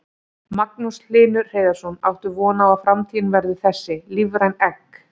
Magnús Hlynur Hreiðarsson: Áttu von á að framtíðin verði þessi, lífræn egg?